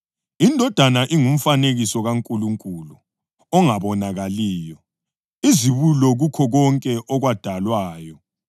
Indodana ingumfanekiso kaNkulunkulu ongabonakaliyo, izibulo kukho konke okwadalwayo.